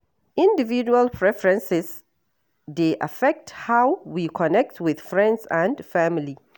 Individual preferences dey affect how we connect with friends and family.